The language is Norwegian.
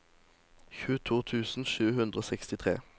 tjueto tusen sju hundre og sekstitre